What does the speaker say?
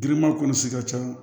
Giriman kɔnɔsi ka ca